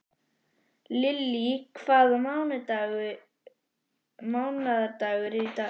Lily, hvaða mánaðardagur er í dag?